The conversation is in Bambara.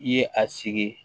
I ye a sigi